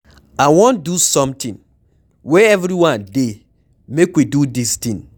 I wan do something, where everyone dey make we do dis thing.